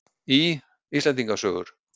Í: Íslendinga sögur.